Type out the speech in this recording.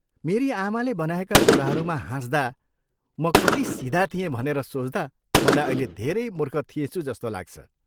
मेरी आमाले बनाएका कुराहरूमा हाँस्दा म कति सिधा थिएँ भनेर सोच्दा मलाई अहिले धेरै मूर्ख थिएँछु जस्तो लाग्छ।